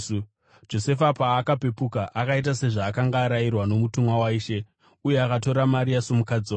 Josefa paakapepuka, akaita sezvaakanga arayirwa nomutumwa waIshe, uye akatora Maria somukadzi wake,